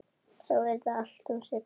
Þá yrði allt um seinan.